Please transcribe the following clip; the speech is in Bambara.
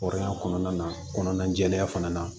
Hɔrɔnya kɔnɔna na kɔnɔna jɛlenya fana na